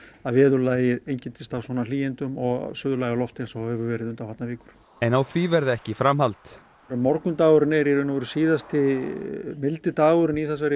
veðurlag einkenndist af svona hlýindum og suðlægu lofti eins og hefur verið undanfarnar vikur en á því verði ekki framhald morgundagurinn er í raun og veru síðasti mildi dagurinn í þessari